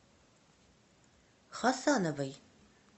хасановой